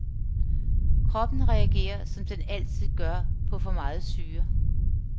Kroppen reagerer som den altid gør på for meget syre.